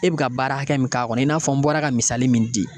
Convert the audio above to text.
E bɛ ka baara hakɛ min k'a kɔnɔ, i n'a fɔ n bɔra ka misali min di.